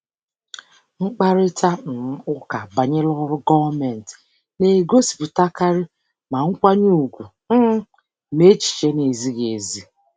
Mkparịta um ụka banyere ọrụ gọọmentị na-egosipụtakarị ma nkwanye ùgwù um ma echiche na-ezighị ezi.